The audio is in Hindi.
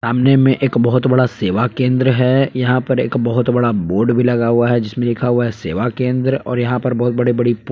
सामने में एक बहुत बड़ा सेवा केंद्र है यहां पर एक बहुत बड़ा बोर्ड भी लगा हुआ है जिसमें लिखा हुआ सेवा केंद्र और यहां पर बहुत बड़े-बड़े --